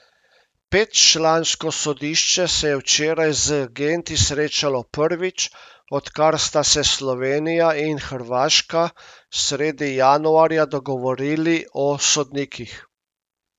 Petčlansko sodišče se je včeraj z agenti srečalo prvič, odkar sta se Slovenija in Hrvaška sredi januarja dogovorili o sodnikih.